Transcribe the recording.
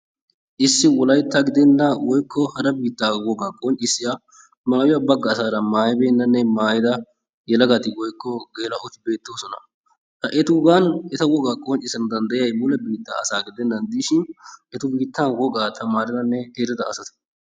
Issi wolaytta gidenna woykko hara biittaa wogaa qonccissiya maayuwa bagga asaara maayibeennanne maayida yelagati woykko geela"oti beettoosona. Ha etuugan eta wogaa qonccisdana danddayiyayi mule biittaa asaa gidennan diishin eta biittaa wogaa tamaaridanne erida asata.